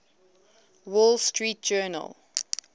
wall street journal